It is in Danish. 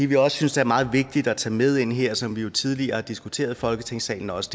vi også synes er meget vigtigt at tage med ind her som vi jo tidligere har diskuteret i folketingssalen også